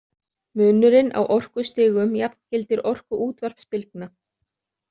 Munurinn á orkustigum jafngildir orku útvarpsbylgna.